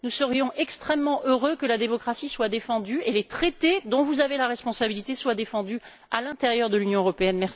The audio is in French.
Nous serions extrêmement heureux que la démocratie soit défendue et que les traités, dont vous avez la responsabilité, soient défendus à l'intérieur de l'Union européenne.